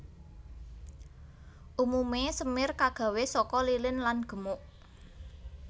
Umumé semir kagawé saka lilin lan gemuk